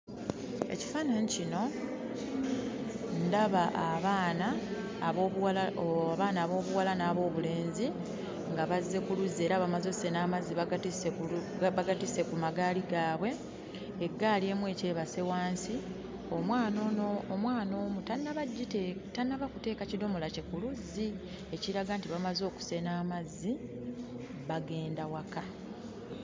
Ekifaananyi kino ndaba abaana ab'obuwala ooo abaana ab'obuwala n'ab'obulenzi nga bazze ku luzzi era bamaze ossena amazzi bagatisse kulu bagatisse ku magaali gaabwe eggaali emu ekyebase wansi omwana ono omwana omu tannaba gite tannaba kuteeka kidomola kye ku luzzi ekiraga nti bamaze okusena amazzi bagenda waka.